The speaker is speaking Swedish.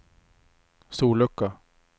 sollucka